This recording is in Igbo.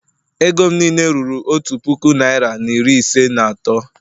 Ego m niile ruru otu puku naira na iri ise na atọ